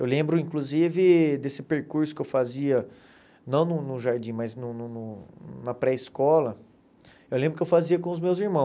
Eu lembro, inclusive, desse percurso que eu fazia, não no no jardim, mas no no no na pré-escola, eu lembro que eu fazia com os meus irmãos.